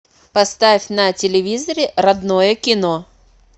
поставь на телевизоре родное кино